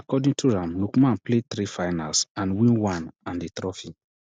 according to am lookman play three finals and win one and di trophy